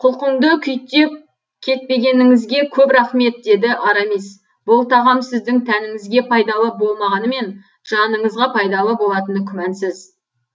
құлқынды күйттеп кетпегеніңізге көп рақмет деді арамис бұл тағам сіздің тәніңізге пайдалы болмағанымен жаныңызға пайдалы болатыны күмәнсыз